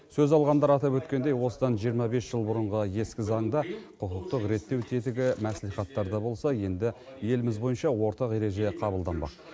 сөз алғандар атап өткендей осыдан жиырма бес жыл бұрынғы ескі заңда құқықтық реттеу тетігі мәслихаттарда болса енді еліміз бойынша ортақ ереже қабылданбақ